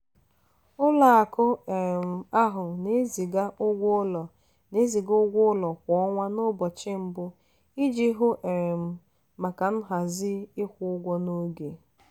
ụlọakụ um ahụ na-eziga ụgwọ ụlọ na-eziga ụgwọ ụlọ kwa ọnwa n'ụbọchị mbụ iji hụ um maka nhazi ịkwụ ụgwọ n'oge.